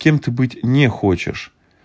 кем ты быть не хочешь